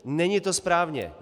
Není to správně.